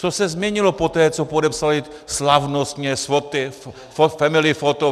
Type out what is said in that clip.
Co se změnilo poté, co podepsali slavnostně, s foty, family foto.